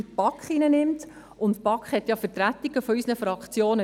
In der BaK befinden sich ja Vertretungen aus unseren Fraktionen.